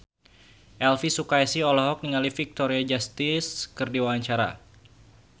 Elvy Sukaesih olohok ningali Victoria Justice keur diwawancara